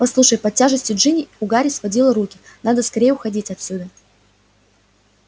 послушай под тяжестью джинни у гарри сводило руки надо скорее уходить отсюда